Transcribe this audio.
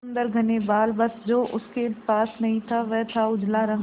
सुंदर घने बाल बस जो उसके पास नहीं था वह था उजला रंग